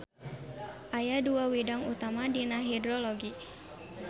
Aya dua widang utama dina hidrologi.